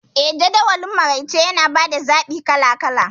Eh, Jadawalin maraice yana ba da zaɓi kala kala..